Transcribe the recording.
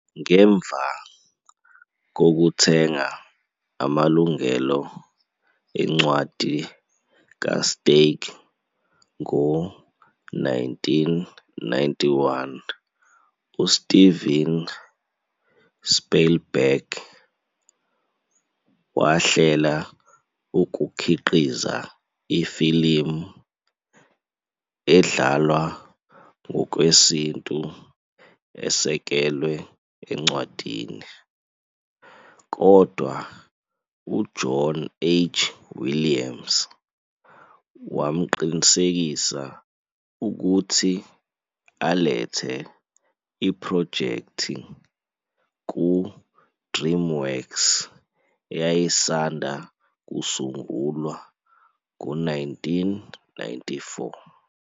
Ngemva kokuthenga amalungelo encwadi kaSteig ngo-1991, uSteven Spielberg wahlela ukukhiqiza ifilimu edlalwa ngokwesintu esekelwe encwadini, kodwa uJohn H. Williams wamqinisekisa ukuthi alethe iphrojekthi ku-DreamWorks eyayisanda kusungulwa ngo-1994.